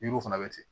Yiriw fana bɛ ten